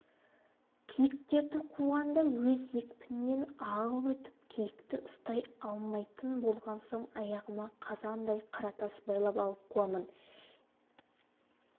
киіктерді қуғанда өз екпінінен ағып өтіп киікті ұстай алмайтын болған соң аяғыма қазандай қара тас байлап алып қуамын